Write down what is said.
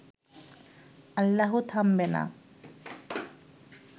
আল্লাহু থামবে না